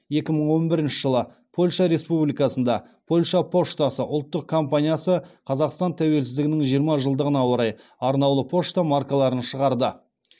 екі мың он бірінші жылы польша республикасында польша поштасы ұлттық компаниясы қазақстан тәуелсіздігінің жиырма жылдығына орай арнаулы пошта маркаларын шығарды